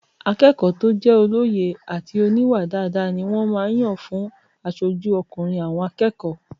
Akẹ́kọ̀ọ́ tó jẹ́ olóye àti oníwà dáadáa ni wọ́n máa n yàn fún asojú ọkùnrin àwọn akẹ́kọ̀ọ́